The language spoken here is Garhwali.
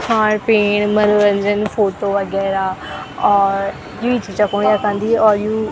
खाण पेण मनोरंजन फोटो वगैरा और युई छी जखणु यखा अन्दी और यू --